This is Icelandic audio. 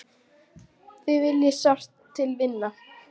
Þig vil ég sárt til vinna.